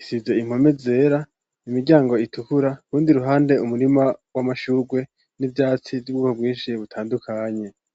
Isize impome zera, imiryango itukura. Urundi ruhande umurima w'amashurwe n'ivyatsi vy'ubwoko bwinshi butandukanye.